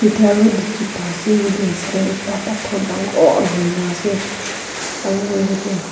b diki pa ase yete hoishey ekte pathor dangooorr hoina ase aro yete.